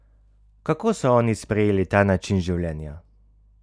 Kako so oni sprejeli ta način življenja?